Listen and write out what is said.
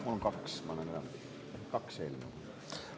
Mul on kaks, ma annan üle kaks eelnõu.